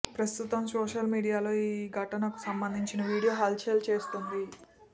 ప్రస్తుతం సోషల్ మీడియాలో ఈ ఘటనకు సంబదించిన వీడియో హల్ చల్ చేస్తోంది